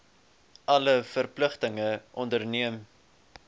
alle verpligtinge onderneem